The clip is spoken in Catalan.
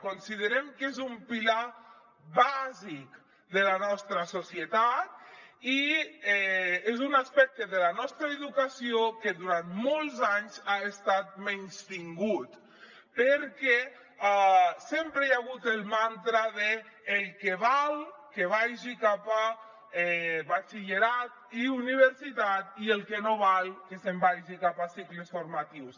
considerem que és un pilar bàsic de la nostra societat i és un aspecte de la nostra educació que durant molts anys ha estat menystingut perquè sempre hi ha hagut el mantra d’ el que val que vagi cap a batxillerat i universitat i el que no val que se’n vagi cap a cicles formatius